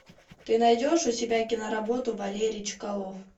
ты найдешь у себя киноработу валерий чкалов